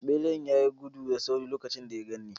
Beran ya yi gudu da sauri lokacin da ya gan ni.